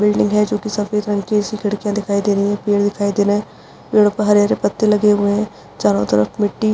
building है जो कि सफेद रंग की इसकी खिड़कियाँ दिखाई दे रही हैं पेड़ दिखाई दे रहें हैं पेड़ों पर हरे-हरे पत्ते लगे हुए हैं चारो तरफ मिट्टी --